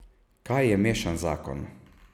Kaj je mešan zakon?